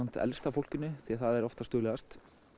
elsta fólkinu því það er oftast duglegast